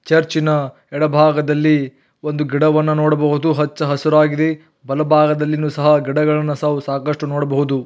ಚರ್ಚಿನ ಎಡಭಾಗದಲ್ಲಿ ಒಂದು ಗಿಡವನ್ನು ನೋಡಬಹುದು ಹಚ್ಚ ಹಸಿರಾಗಿದೆ ಬಲಭಾಗದಲ್ಲಿಯೂ ಸಹ ಗಿಡಗಳನ್ನು ಸಹ ಸಾಕಷ್ಟು ನೋಡಬಹುದು.